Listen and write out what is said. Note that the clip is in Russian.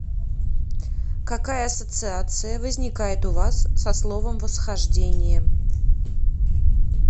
какая ассоциация возникает у вас со словом восхождение